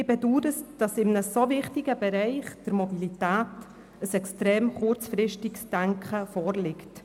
Ich bedaure, dass in einem so wichtigen Bereich wie der Mobilität extrem kurzfristig gedacht wird.